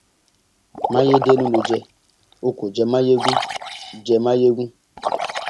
mayedénú ló jẹ o kò jẹ mayegun jẹ mayegun